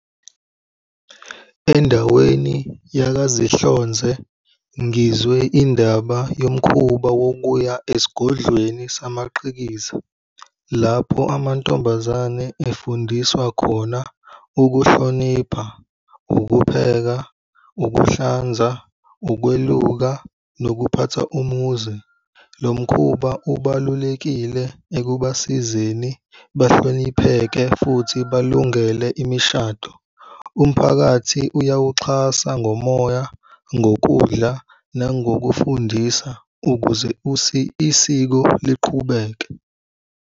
Endaweni yakaZinhlonze, ngizwe indaba yomkhuba wokuya esigodlweni samaqhikiza, lapho amantombazane efundiswa khona ukuhlonipha ukupheka, ukuhlanza, ukweluka nokuphatha umuzi. Lo mkhuba ubalulekile ekubasizeni bahlonipheke futhi balungele imishado. Umphakathi uyawuxhasa ngomoya, ngokudla, nangokufundisa ukuze isiko liqhubeke.